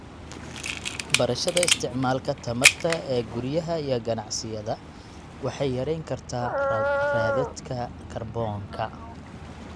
Barashada isticmaalka tamarta ee guryaha iyo ganacsiyada waxay yarayn kartaa raadadka kaarboonka.